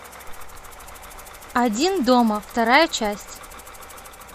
один дома вторая часть